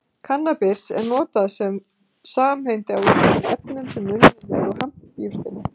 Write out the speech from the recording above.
Kannabis er notað sem samheiti á ýmsum efnum sem unnin eru úr hampjurtinni